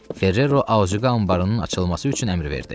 Ferrero Aqa anbarının açılması üçün əmr verdi.